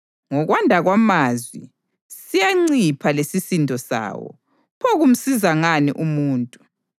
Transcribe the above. Ngokwanda kwamazwi siyancipha lesisindo sawo; pho kumsiza ngani umuntu?